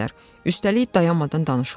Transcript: Üstəlik dayanmadan danışırlar.